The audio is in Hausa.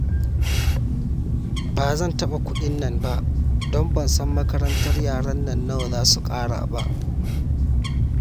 Ba zan taɓa kuɗin nan ba, don ban san makarantar yaran nan nawa za su ƙara ba